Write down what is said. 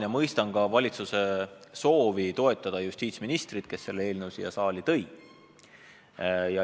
Ma mõistan ka valitsuse soovi toetada justiitsministrit, kes selle eelnõu siia saali tõi.